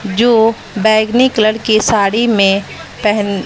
जो बैंगनी कलर की साड़ी में पहन--